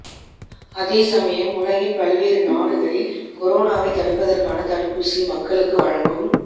அதேசமயம் உலகின் பல்வேறு நாடுகளில் கொரோவை தடுப்பதற்கான தடுப்பூசி மக்களுக்கு வழங்கும்